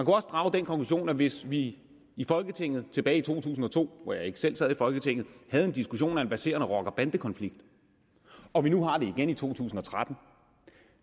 også drage den konklusion at hvis vi i folketinget tilbage i to tusind og to hvor jeg ikke selv sad i folketinget havde en diskussion om en verserende rocker bande konflikt og vi nu har det igen i to tusind og tretten